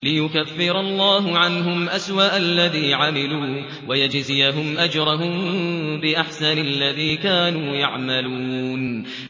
لِيُكَفِّرَ اللَّهُ عَنْهُمْ أَسْوَأَ الَّذِي عَمِلُوا وَيَجْزِيَهُمْ أَجْرَهُم بِأَحْسَنِ الَّذِي كَانُوا يَعْمَلُونَ